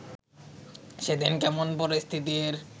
সেদিন কেমন পরিস্থিতির